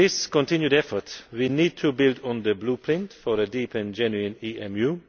In this continued effort, we need to build on the Blueprint for a deep and genuine EMU'.